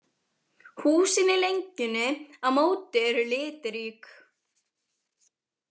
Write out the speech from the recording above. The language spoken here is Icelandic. Húsin í lengjunni á móti eru litrík.